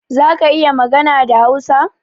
Zaka iya magana da Hausa?